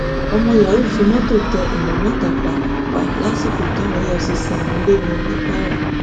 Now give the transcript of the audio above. ọmọ yahoo fi mọtò tẹ èèyàn mẹta pa pa lásìkò táwọn efcc ń lé wọn ní kwara